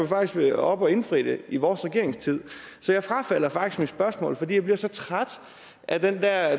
faktisk været oppe at indfri dem i vores regeringstid så jeg frafalder faktisk mit spørgsmål fordi jeg bliver så træt af det der